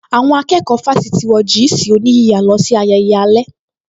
Àwọn akẹ́kọ̀ọ́ fásítì wọ jị́ị̀sị̀ oníyíya lọ sí ayẹyẹ alẹ́